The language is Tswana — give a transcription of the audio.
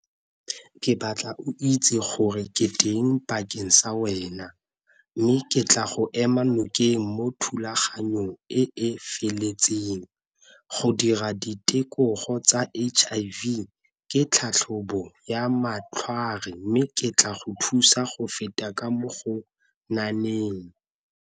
Ke batla o itse gore ke teng bakeng sa wena, mme ke tla go ema nokeng mo thulaganyong e e feletseng. Go dira tsa H_I_V ke tlhatlhobo ya mme ke tla go thusa go feta ka mo go .